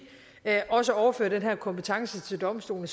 også overfører den her kompetence til domstolene